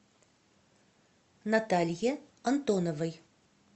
наталье антоновой